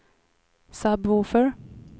sub-woofer